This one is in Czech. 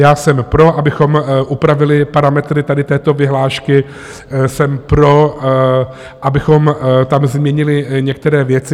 Já jsem pro, abychom upravili parametry tady této vyhlášky, jsem pro, abychom tam změnili některé věci.